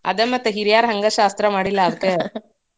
ಅದ ಮತ್ ಹಿರ್ಯಾರ ಹಂಗಾ ಶಾಸ್ತ್ರಾ ಮಾಡಿಲ್ಲಾ ಅದ್ಕ